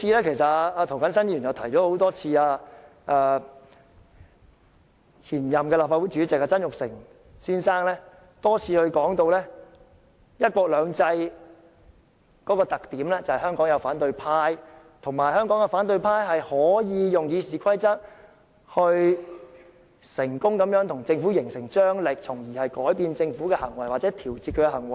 其實，涂謹申議員已多次提到，前任立法會主席曾鈺成先生也多次提及，"一國兩制"的特點在於香港有反對派，以及香港的反對派能夠運用《議事規則》對政府成功施壓，從而改變或調節政府的行為。